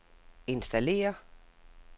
installér